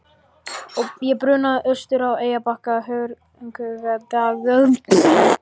Ég brunaði austur á Eyrarbakka í hörkugaddi.